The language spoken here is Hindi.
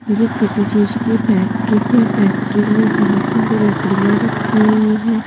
यह किसी चीज की फैक्ट्री है फैक्ट्री में बहुत सारी लकड़ियां रखी हुई हैं।